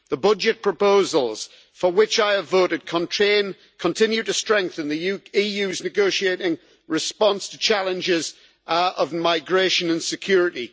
The budget proposals, for which I have voted, continue to strengthen the EU's negotiating response to the challenges of migration and security.